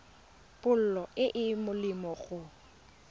pholo e e molemo go